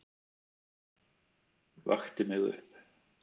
Vakti mig upp.